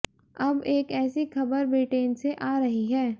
अब एक ऐसी खबर ब्रिटेन से आ रही है